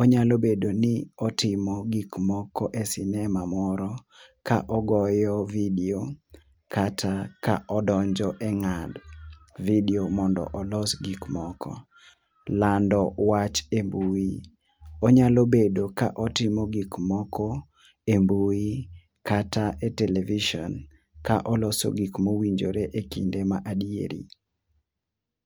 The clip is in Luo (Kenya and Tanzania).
onyalo bedo ni otimo gik moko e sinema moro ka ogoyo video kata ka odonjo e ngado vido mondo olos gik moko. lando wach mbui, wanyalo bedo ka watimo gik moko e mbui kata e television ka oloso gik ma owinjore e kinde ma adieri.